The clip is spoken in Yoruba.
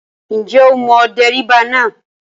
Ǹjẹ́ o mọ dẹ́ríbà náà?